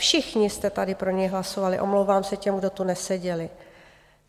Všichni jste tady pro něj hlasovali, omlouvám se těm, kdo tu neseděli.